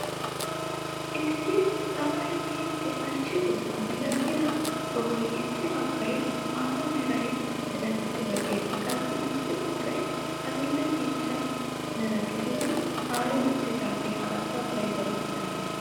Issi tamay miidi ashshidosaa milatiyaa sohoy issi baggay maata mera milatidi lo"ees qassi issi baggay adil'e ciishsha mera gididi aari uttidagee haattaa xayidaba milatees.